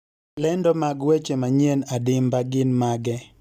Lendo mag weche manyien adimba gin mage